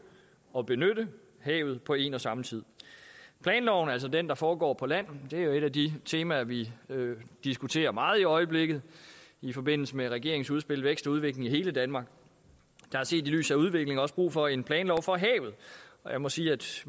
og benytte havet på en og samme tid planloven er altså den der foregår på land det er jo et af de temaer vi diskuterer meget i øjeblikket i forbindelse med regeringens udspil vækst og udvikling i hele danmark der er set i lyset af udviklingen også brug for en planlov for havet og jeg må sige at